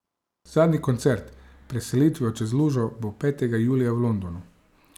Zadnji koncert pred selitvijo čez lužo bo petega julija v Londonu.